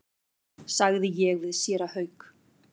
sagði ég við séra Hauk.